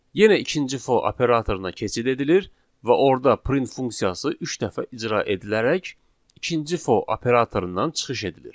Yenə ikinci for operatoruna keçid edilir və orda print funksiyası üç dəfə icra edilərək ikinci for operatorundan çıxış edilir.